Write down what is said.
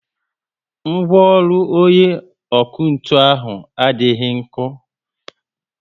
Ngwaọrụ onye ọkụ ntụ ahụ adịghị nko